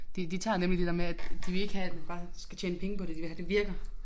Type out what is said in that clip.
De de tager nemlig det der med at de vil ikke have at bare skal tjene penge på det de vil have det virker